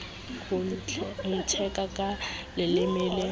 ho ntheka ka leleme le